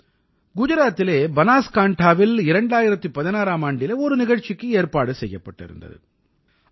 குஜராத்திலே பனாஸ்காண்டாவில் 2016ஆம் ஆண்டிலே ஒரு நிகழ்ச்சிக்கு ஏற்பாடு செய்யப்பட்டிருந்தது